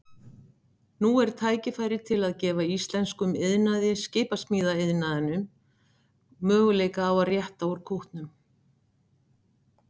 Nú er tækifæri til að gefa íslenskum iðnaði, skipasmíðaiðnaðinum, möguleika á að rétta úr kútnum.